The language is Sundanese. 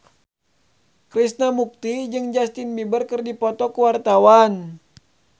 Krishna Mukti jeung Justin Beiber keur dipoto ku wartawan